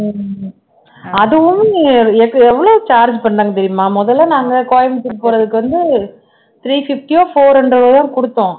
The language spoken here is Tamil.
உம் அதுவும் நீ எவ்ளோ charge பண்ணாங்கன்னு தெரியுமா முதல்ல எல்லாம் நாங்க கோயமுத்தூர் போறதுக்கு வந்து three fifty ஓ four hundred ஓ தான் கொடுத்தோம்